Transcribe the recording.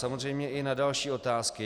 Samozřejmě i na další otázky.